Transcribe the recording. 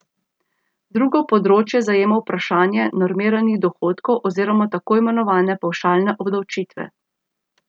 Drugo področje zajema vprašanje normiranih dohodkov oziroma tako imenovane pavšalne obdavčitve.